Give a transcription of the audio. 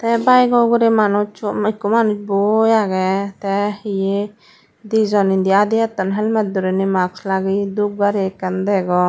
tey bikeor ugurey manuj u ekku manuj boi agey tey hiye dijon indi adi etton helmet doriney mask lageye dup gari ekkan degong.